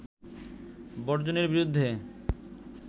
বর্জনের বিরুদ্ধে